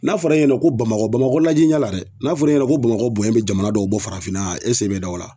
N'a fɔra e ɲɛna ko bamakɔ bamakɔ jija la dɛ n'a fɔra e ɲɛna ko bamakɔ bonɲɛ bi jamana dɔw bɔ farafinna e sen be da o la.